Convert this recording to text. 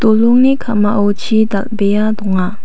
dolongni ka·mao chi dal·bea donga.